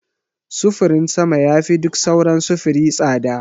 Sufurin sama yafi duk sauran sufuri tsada.